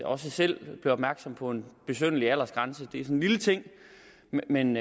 også selv blev opmærksom på en besynderlig aldersgrænse det er sådan en lille ting men